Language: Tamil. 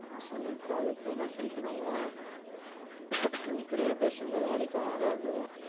சரி உட்றா அதுக்கு போயின்னா feel பண்ணாத இப்புடியே பேசி இருந்தா வேலைக்கும் ஆகாது